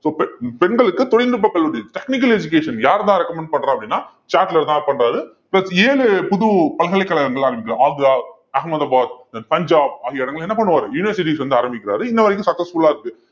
so பெண் பெண்களுக்கு தொழில்நுட்ப கல்லூரி technical education யார் தான் recommend பண்றா அப்படின்னா சாட்லர் தான் பண்றாரு plus ஏழு புது பல்கலைக்கழகங்கள் ஆரம்பிக்க~ ஆக்ரா, அகமதாபாத், பஞ்சாப் ஆகிய இடங்கள்ல என்ன பண்ணுவாரு universities வந்து ஆரம்பிக்கிறாரு இன்ன வரைக்கும் successful ஆ இருக்கு